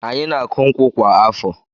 Anyị na-akụ nkwụ kwa afọ.